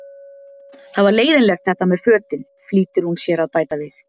Það var leiðinlegt þetta með fötin, flýtir hún sér að bæta við.